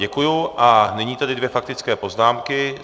Děkuji a nyní tedy dvě faktické poznámky.